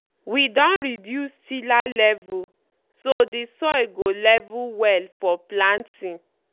we don reduce tiller level so dey soil go level well for planting.